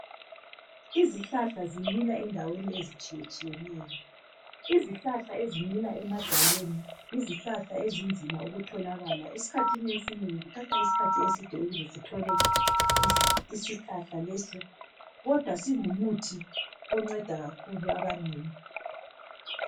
Izihlahla zimila endaweni ezitshiyetshiyeneyo. Izihlahla ezimila emadwaleni yizihlahla ezinzima ukutholakala. Esikhathini esinengi kuthatha isikhathi eside ukuze sithole isihlahla leso kodwa singumuthi onceda kakhulu abanengi.